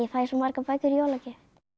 fæ svo margar bækur í jólagjöf